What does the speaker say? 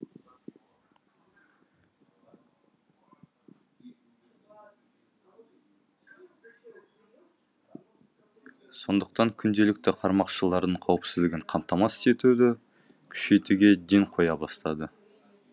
сондықтан күнделікті қармақшылардың қауіпсіздігін қамтамасыз етуді күшейтуге ден қоя бастады